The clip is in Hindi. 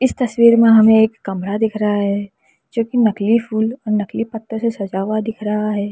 इस तस्वीर में हमें एक कमरा दिख रहा है जो कि नकली फूल नकली पत्तों से सजा हुआ दिख रहा है।